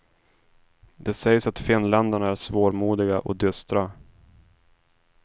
Det sägs att finländarna är svårmodiga och dystra.